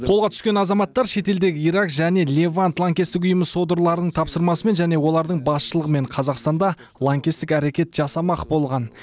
қолға түскен азаматтар шетелдегі ирак және левант лаңкестік ұйымы содырларының тапсырмасымен және олардың басшылығымен қазақстанда лаңкестік әрекет жасамақ болған